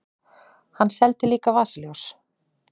Hann seldi líka vasaljós.